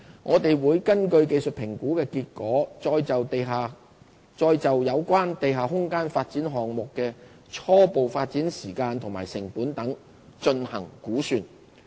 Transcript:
我們會根據技術評估的結果，再就有關地下空間發展項目的初步發展時間及成本等進行估算。